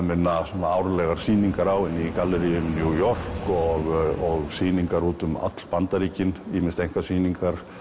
minna árlega sýningar á henni í galleríum New York borgar og sýningar út um alla Bandaríkin ýmist einkasýningar